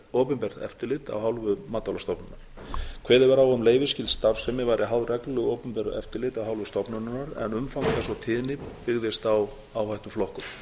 opinbert eftirlit af hálfu matvælastofnunar kveðið var á um að leyfisskyld starfsemi væri háð reglulegu opinberu eftirliti af hálfu stofnunarinnar en umfang þess og tíðni byggðist á áhættuflokkun